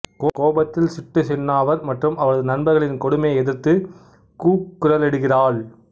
கோபத்தில் சிட்டு சின்னாவர் மற்றும் அவரது நண்பர்களின் கொடுமையை எதிர்த்து கூக்குரலிடுகிறாள்